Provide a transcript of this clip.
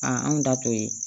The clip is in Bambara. anw da to ye